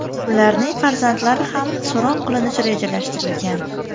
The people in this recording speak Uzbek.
Ularning farzandlari ham so‘roq qilinishi rejalashtirilgan.